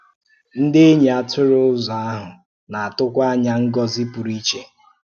Ndị̀ enyi atụrụ ọzọ ahụ na-atụ̀kwà ánya ngọ́zi pụrụ iche ọzọ.